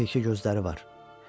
Yaman yekə gözləri var.